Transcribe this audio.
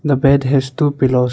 The bed has two pillows.